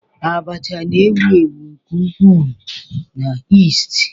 Abacha na-ewu ewu nke ukwuu na East.